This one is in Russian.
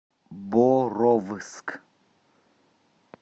боровск